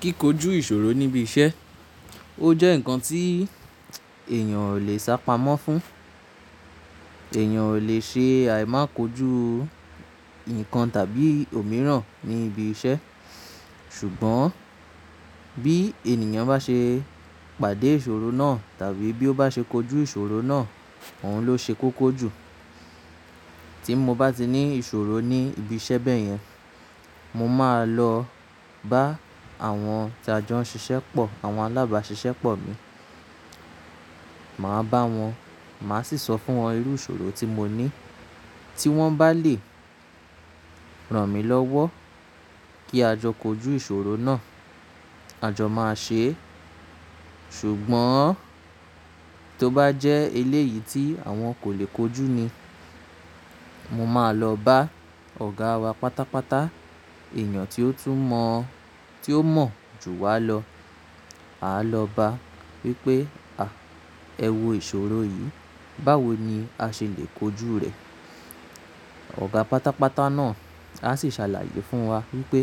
Kíkójú ìṣòro níbi iṣẹ́, ó jẹ́ ǹkan tí èèyàn ò lè sá pamọ́ fún. Ẹ̀yàn ò lè ṣe àìmá kojú nǹkan tàbí òmíràn ní ibi iṣẹ́. Ṣùgbọ́n bí ènìyàn bá ṣe pàdé ìṣòro náà tàbí bí ó bá ṣe kojú ìṣòro náà, òun ló ṣe kókó jù. Tí mo bá ti ní ìṣòro ní ibi iṣẹ́ bẹ́yẹn, mo máa lọ bá àwọn tí a jọ ń ṣiṣẹ́ pọ̀, àwọn alábáṣiṣẹ́ pọ̀ mi. Màá bá wọn, màá sì sọ fún wọn irú ìṣòro tí mo ní. Tí wọ́n bá lè ràn mí lọ́wọ́ kí a jọ kojú ìṣòro náà, a jọ máa ṣe é. Ṣùgbọ́n tó bá jẹ́ eléyìí tí àwọn kò lè kojú ni, mo máa lọ bá ọ̀gá wa pátápátá, èèyàn tí ó tún mọ̀, tí ó mọ̀ jù wa lọ. A lọ bá á wípé, "à, ẹ wò ìṣòro yìí, báwo ni a ṣe lè kojú rè?" Ọ̀gá pátápátá náà á sì ṣàlàyé fún wa wípé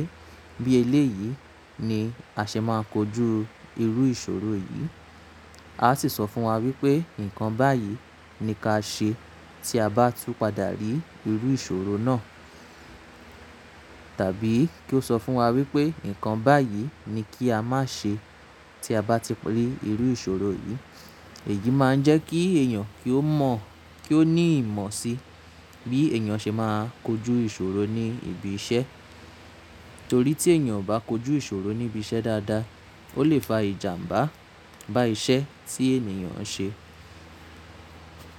bí eléyìí ni a ṣe máa kojú irú ìṣòro yìí. A á sì sọ fún wa wípé nǹkan báyìí ni ká ṣe tí a bá tú padà rí irú ìṣòro náà. Tàbí kí ó sọ fún wa wípé nǹkan báyìí ni kí a má ṣe tí a bá ti rí irú ìṣòro yìí. Èyí máa ń jẹ́ kí èèyàn kí ó mọ̀, kí ó ní ìmọ̀ sí bí èèyàn ṣe máa kojú ìṣòro ní ibi iṣẹ́. Torí tí èèyàn ò bá kojú ìṣòro níbi iṣẹ́ dáadáa, ó lè fa ìjàmbá bá iṣẹ́ tí èniyàn ń ṣe.